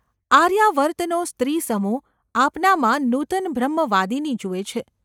આર્યાવર્તનો સ્ત્રીસમૂહ આપનામાં નૂતન બ્રહ્મવાદિની જુએ છે.